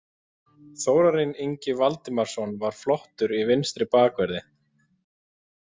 Þórarinn Ingi Valdimarsson var flottur í vinstri bakverði.